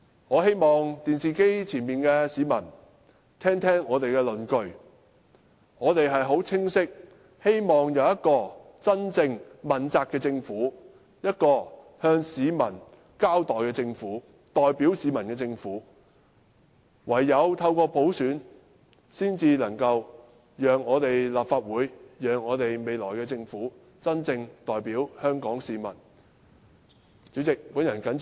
我希望電視機旁的市民聽一聽我們的論據，我們是很清晰地希望有一個真正問責的政府、一個向市民交代的政府、代表市民的政府，而唯有透過普選，才能使立法會和未來的政府真正代表香港市民。